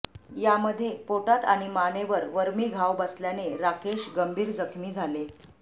यामध्ये पोटात आणि मानेवर वर्मी घाव बसल्याने राकेश गंभीर जखमी झाले